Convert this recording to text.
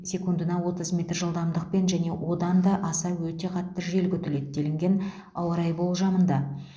секундына отыз метр жылдамдықпен және одан аса өте қатты жел күтіледі деліген ауа райы болжамында